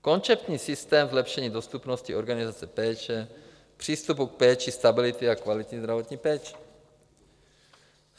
Konceptní systém zlepšení dostupnosti organizace péče, přístupu k péči, stability a kvality zdravotní péče.